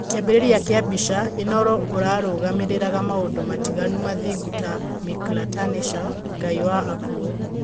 Kĩambĩrĩria kĩa mbica, Inooro ũrũgamĩriraga maũndũ matiganu mathingu ta Mictlantecuhtli, Ngai wa akuo.